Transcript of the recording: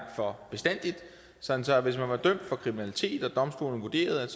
for bestandig sådan at hvis man var blevet dømt for kriminalitet og domstolen vurderede at